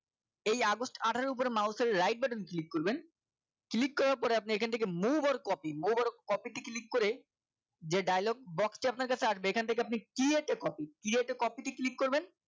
এই আগস্ট আঠারো এর উপরে mouse এর right button click করবেন click করার পরে আপনি এখান থেকে move or copy move or copy কে click করে যে dialogue box টি আপনার কাছে আসবে এখান থেকে আপনি create a copy create a copy টি click করবেন